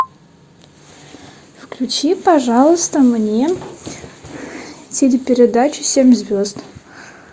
включи пожалуйста мне телепередачу семь звезд